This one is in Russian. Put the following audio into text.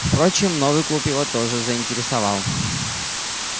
впрочем новый клуб его тоже заинтересовал